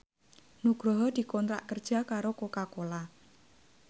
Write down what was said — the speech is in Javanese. Nugroho dikontrak kerja karo Coca Cola